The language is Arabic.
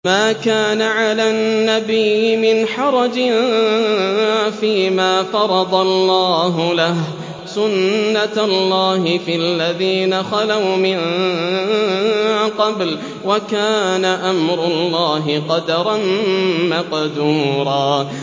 مَّا كَانَ عَلَى النَّبِيِّ مِنْ حَرَجٍ فِيمَا فَرَضَ اللَّهُ لَهُ ۖ سُنَّةَ اللَّهِ فِي الَّذِينَ خَلَوْا مِن قَبْلُ ۚ وَكَانَ أَمْرُ اللَّهِ قَدَرًا مَّقْدُورًا